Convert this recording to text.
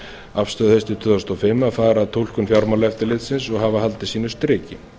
afstöðu haustið tvö þúsund og fimm að fara að túlkun fjármálaeftirlitsins og hafa haldið sínu striki